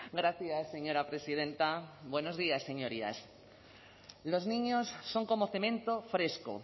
gracias señora presidenta buenos días señorías los niños son como cemento fresco